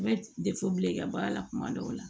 I bɛ bila i ka baara la tuma dɔw la